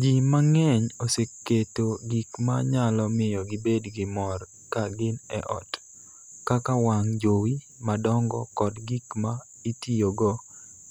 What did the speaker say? Ji mang�eny oseketo gik ma nyalo miyo gibed gi mor ka gin e ot, kaka wang' jowi madongo kod gik ma itiyogo